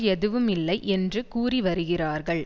எதுவுமில்லை என்று கூறிவருகிறார்கள்